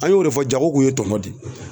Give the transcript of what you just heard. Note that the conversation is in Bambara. An y'o de fɔ jago kun ye tɔnɔ de ye